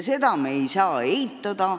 Ja me ei saa seda eitada.